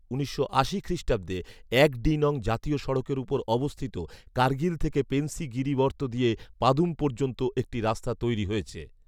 উনিশশো আশি খ্রিষ্টাব্দে এক ডি নং জাতীয় সড়কের ওপর অবস্থিত কার্গিল থেকে পেনসি গিরিবর্ত দিয়ে পাদুম পর্যন্ত একটি রাস্তা তৈরী হয়েছে